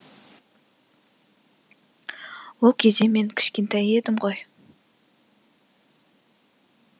ол кезде мен кішкентай едім ғой